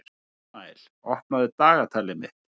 Ísmael, opnaðu dagatalið mitt.